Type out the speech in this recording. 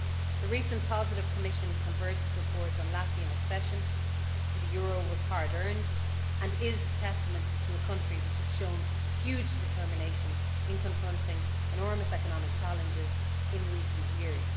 The recent positive Commission convergence report on Latvian accession to the euro was hard earned, and is testament to a country which has shown huge determination in confronting enormous economic challenges in recent years.